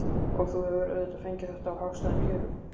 Og þú hefur auðvitað fengið þetta á hagstæðum kjörum?